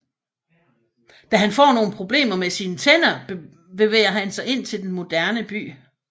Da han får nogle problemer med sine tænder bevæger han sig ind til den moderne by